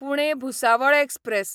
Pune Bhusawal express